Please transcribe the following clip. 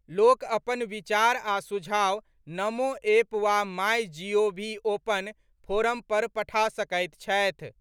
लोक अपन विचार आ सुझाव नमो एप वा माई जीओवी ओपन फोरम पर पठा सकैत छथि।